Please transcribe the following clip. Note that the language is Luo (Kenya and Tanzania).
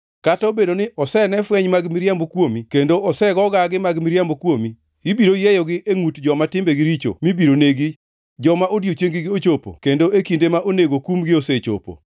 Kata obedo ni osene fweny mag miriambo kuomi kendo osego gagi mag miriambo kuomi, to ibiro yieyogi e ngʼut, joma timbegi richo mibiro negi, joma odiechieng-gi ochopo kendo e kinde ma onego kumgie osechopo.